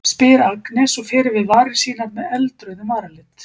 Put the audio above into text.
spyr Agnes og fer yfir varir sínar með með eldrauðum varalit.